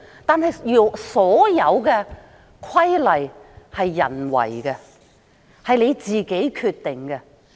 但是，所有規例都是人訂定的，是我們自己決定的。